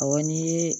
Awɔ n'i ye